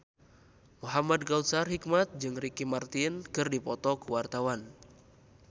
Muhamad Kautsar Hikmat jeung Ricky Martin keur dipoto ku wartawan